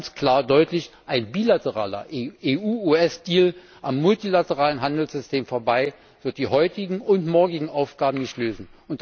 Ich sage ganz klar und deutlich Ein bilateraler EU US Deal am multilateralen Handelssystem vorbei wird die heutigen und morgigen Aufgaben nicht lösen.